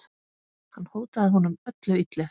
Hann hótaði honum öllu illu.